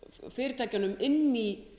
fyrirtækjunum inn í